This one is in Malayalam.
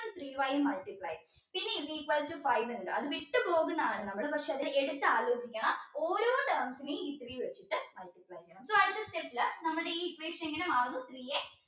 three y multiply പിന്നെ is equal to five ഇണ്ട് അത് വിട്ടു പോകുന്നതാണ് നമ്മൾ പക്ഷെ അത് എട്ത് ആലോചിക്കണം ഓരോ terms നെയും ഈ three വെച്ചിട്ട് multiply ചെയ്യണം so അടുത്ത step ൽ നമ്മുടെ ഈ equation എങ്ങനാ മാറുന്നു